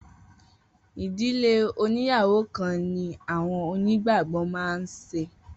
Idile oníyàwó kan ni awọn onígbàgbọ́ má n se